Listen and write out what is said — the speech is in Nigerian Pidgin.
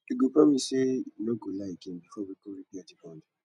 you go promise sey you no go lie again before we go repair di bond